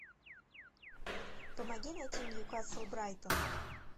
помоги найти ньюкасл брайтон